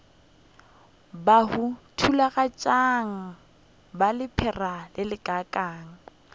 bahu thakgafatšang ba lephera lelekang